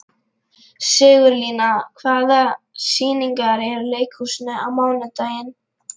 Sigurlína, hvaða sýningar eru í leikhúsinu á mánudaginn?